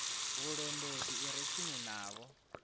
vhulondoti i re tsini navho